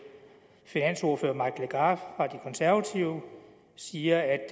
finansordfører mike legarth fra de konservative siger at